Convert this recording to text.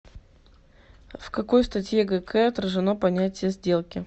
в какой статье гк отражено понятие сделки